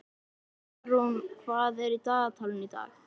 Jarún, hvað er í dagatalinu í dag?